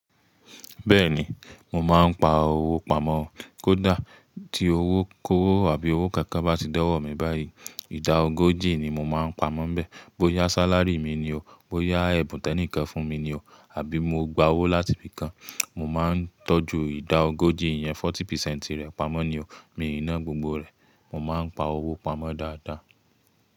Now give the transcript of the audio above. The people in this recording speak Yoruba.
Bẹ́ẹ̀ni, mo máa ń pa owó pamọ́. Kódà tí owó kówó àbí owó kankan bá ti dọ̀wọ́ mi báyìí, ìdá ogójì ni mo máa ń pamọ́ bẹ́ẹ̀. Bóyá sálárì mi ni o, bóyá ẹ̀bùn tẹ́ní kan fún mi ni o, àbí mo gba owó láti ibì kan, mo máa ń tọ́jú ìdá ogójì yẹn, forty percent rẹ̀ pamọ́ ni o. Mi ò ná gbogbo rẹ̀, mo máa ń pa owó pamọ́ dáadáa.